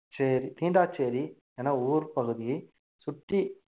சேரி~ தீண்டாச்சேரி என ஊர்ப்பகுதியை சுற்றி